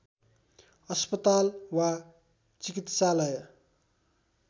अस्पताल वा चिकित्सालय